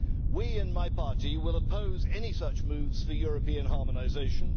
We, in my party, will oppose any such moves for European harmonisation.